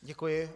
Děkuji.